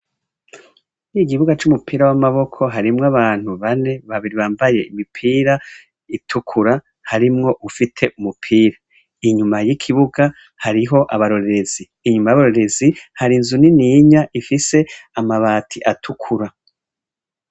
Kuri iki kibuga c'umupira w'amaboko hariho abantu bane, babiri bambaye imipira itukura harimwo ufite umupira. Inyuma y'ikibuga hariho abarorerezi. Inyuma y'abarongozi, hari inzu nininya ifite amabati atukura.